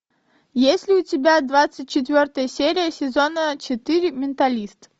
есть ли у тебя двадцать четвертая серия сезона четыре менталист